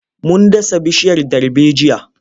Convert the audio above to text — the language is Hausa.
Mun dasa bishiyar darbejiya.